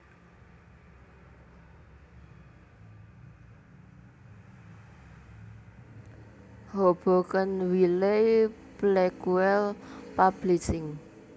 Hoboken Wiley Blackwell Publishing